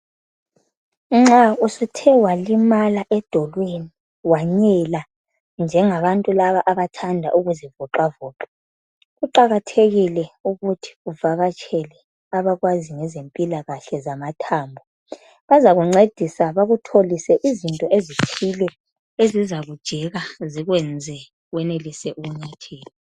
Nxa usuthe walimala edolweni wanyela njengabantu laba abathanda ukuzivoca voca, kuqakathekile ukuthi uvakatshele abakwazi ngezempilakahle zamathambo. Bazakuncedisa bakutholise izinto ezithile ezizakujeka zikwenze wenelise ukunyathela.